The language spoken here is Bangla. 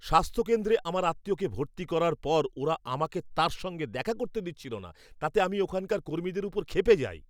স্বাস্থ্যকেন্দ্রে আমার আত্মীয়কে ভর্তি করার পর ওরা আমাকে তার সঙ্গে দেখা করতে দিচ্ছিল না। তাতে আমি ওখানকার কর্মীদের উপর ক্ষেপে যাই।